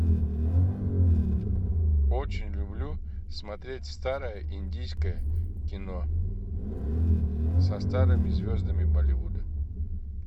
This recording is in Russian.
очень люблю смотреть старое индийское кино со старыми звездами болливуда